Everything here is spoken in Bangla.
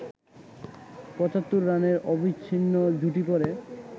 ৭৫ রানের অবিচ্ছিন্ন জুটি গড়ে